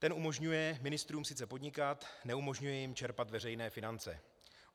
Ten umožňuje ministrům sice podnikat, neumožňuje jim čerpat veřejné finance.